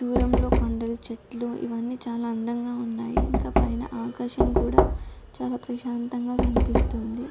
దూరంలో కొండలు చెట్లు ఇవ్వని చాలా అందంగా ఉన్నాయి ఇంకా పైన ఆకాశం కూడా చాలా ప్రశాంతంగా కనిపిస్తుంది